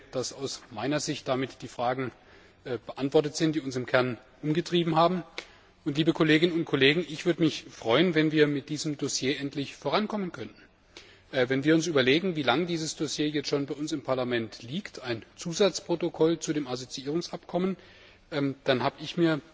Ich denke, dass aus meiner Sicht damit die Fragen beantwortet sind, die uns im Kern umgetrieben haben. Liebe Kolleginnen und Kollegen, ich würde mich freuen, wenn wir mit diesem Dossier endlich vorankommen könnten. Wenn wir uns überlegen, wie lange dieses Dossier jetzt schon bei uns im Parlament liegt ein Zusatzprotokoll zu dem Assoziierungsabkommen dann habe ich